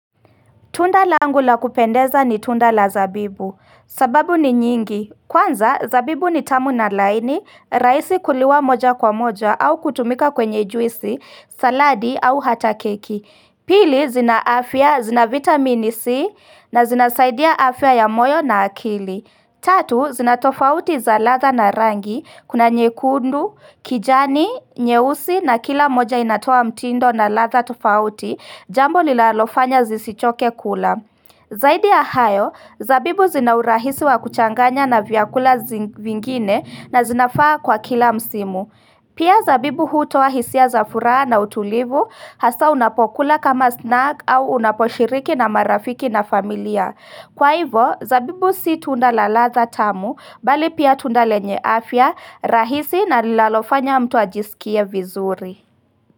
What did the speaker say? Tunda langa laum kupendeza ni tunda la zabibu, sababu ni nyingi, kwanza zabibu ni tamu na laini, rahisi kuliwa moja kwa moja au kutumika kwenye juisi, saladi au hata keki Pili zina afya, zina vitamini C na zinasaidia afya ya moyo na akili Tatu, zinatofauti za ladha na rangi, kuna nyekundu, kijani, nyeusi na kila moja inatoa mtindo na ladha tofauti, jambo linalofanya zisichoke kula. Zaidi ya hayo, zabibu zina urahisi wa kuchanganya na vyakula vingine na zinafaa kwa kila msimu. Pia zabibu hutoa hisia za furaha na utulivu, hasa unapokula kama snack au unaposhiriki na marafiki na familia. Kwa hivo, zabibu si tunda la ladha tamu, bali pia tunda lenye afya, rahisi na lilalofanya mtu ajisikia vizuri.